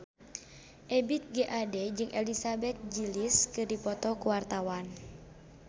Ebith G. Ade jeung Elizabeth Gillies keur dipoto ku wartawan